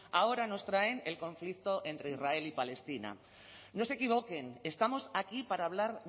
ahora nos traen el conflicto entre israel y palestina no se equivoquen estamos aquí para hablar